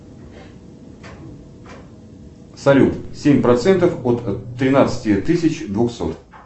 салют семь процентов от тринадцати тысяч двухсот